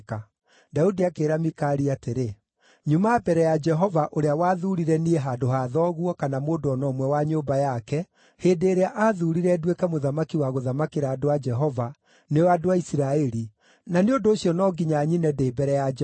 Daudi akĩĩra Mikali atĩrĩ, “Nyuma mbere ya Jehova ũrĩa wathuurire niĩ handũ ha thoguo kana mũndũ o na ũmwe wa nyũmba yake, hĩndĩ ĩrĩa aathuurire nduĩke mũthamaki wa gũthamakĩra andũ a Jehova, nĩo andũ a Isiraeli, na nĩ ũndũ ũcio no nginya nyine ndĩ mbere ya Jehova.